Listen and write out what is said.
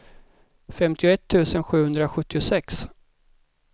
femtioett tusen sjuhundrasjuttiosex